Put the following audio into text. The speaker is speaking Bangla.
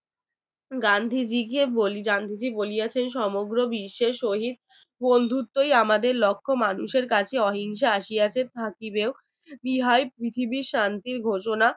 গান্ধীজিকে গান্ধীজি বলিয়াছে যে সমগ্র বিশ্বের শহীদ বন্ধুত্বই আমাদের লক্ষ্য মানুষের কাছে অহিংসা আশি আছে এবং থাকিবেও ইহাই পৃথিবীর শান্তির ঘোষণা